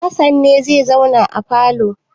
Hassan ne zai zauna a falo?